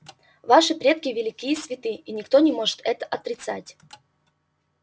ваши предки велики и святы и никто не может это отрицать